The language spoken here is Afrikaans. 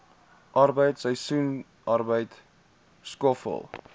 arbeid seisoensarbeid skoffel